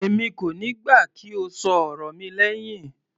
Èmi kò níí gbà kí o ṣọ ọ̀rọ̀ mi lẹhin.